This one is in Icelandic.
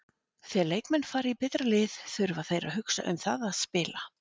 Þegar leikmenn fara í betra lið þurfa þeir að hugsa um það að spila.